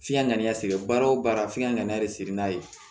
F'i ka n'a sɛgɛn baara o baara f'i ka n'a yɛrɛ sɛgɛn n'a ye